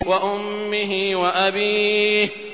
وَأُمِّهِ وَأَبِيهِ